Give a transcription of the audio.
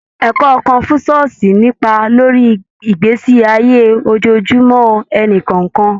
Ẹkọ Kọ̀nfúṣíọ̀sì ní ipa lórí ìgbésí ayé ojojúmó ẹníkọ̀ọ̀kan.